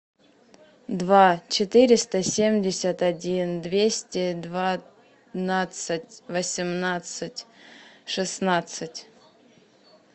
два четыреста семьдесят один двести двенадцать восемнадцать шестнадцать